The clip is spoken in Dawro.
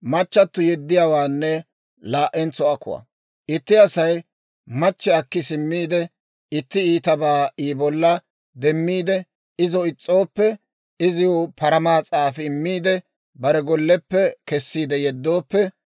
«Itti Asay machche akki simmiide, itti iitabaa I bolla demmiide izo is's'ooppe, iziw paramaa s'aafi immiide, bare golleppe kessiide yeddooppe,